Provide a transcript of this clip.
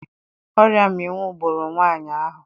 Oria mminwu gburu nwaanyị ahụ.